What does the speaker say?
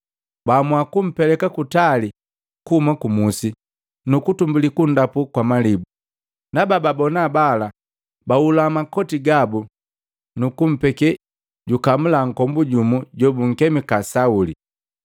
Baamua kumpeleka kutali kuhuma ku musi, nukutumbuli kunndapu kwa malibu. Na bababona bala bahula makoti gabu nukumpekee jukamula nkombu jumu jobunkemika Sauli.